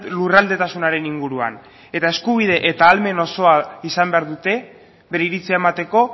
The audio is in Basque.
lurraldetasunaren inguruan eta eskubide eta ahalmen osoa izan behar dute bere iritzia emateko